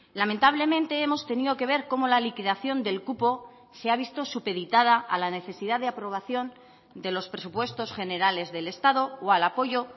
lamentablemente hemos tenido que ver cómo la liquidación del cupo se ha visto supeditada a la necesidad de aprobación de los presupuestos generales del estado o al apoyo